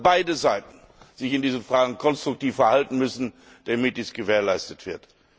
Ich meine, dass beide Seiten sich in diesen Fragen konstruktiv verhalten müssen, damit dies gewährleistet wird.